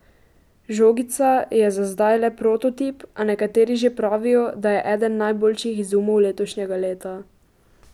Žogica je za zdaj le prototip, a nekateri že pravijo, da je eden najboljših izumov letošnjega leta.